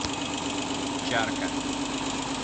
чарка